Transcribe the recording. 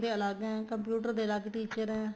ਅਲੱਗ ਹੈ computer ਦੇ ਅਲੱਗ teacher ਏ